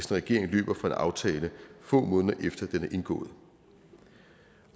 regering løber fra en aftale få måneder efter at den er indgået